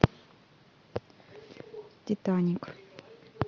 титаник